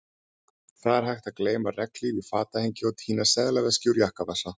Það er hægt að gleyma regnhlíf í fatahengi og týna seðlaveski úr jakkavasa